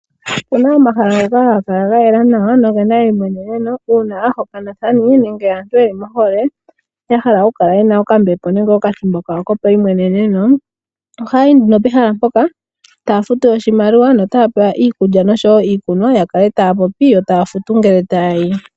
Opuna omahala ngoka haga kala ga yela nawa nogena eimweneneno, uuna aahokanathani nenge aantu yeli mohole ya hala okukala yena okambepo nenge okathimbo kawo kopaimweneneno. Ohaya yi nduno pehala mpoka taya futu oshimaliwa notaya pewa iikulya nosho wo iikunwa ya kale taya popi yo taya futu ngele taya yi.